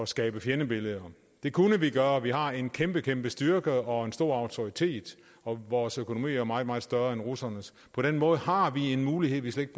skabe fjendebilleder det kunne vi gøre vi har en kæmpe kæmpe styrke og en stor autoritet og vores økonomi er jo meget meget større end russernes på den måde har vi en mulighed vi slet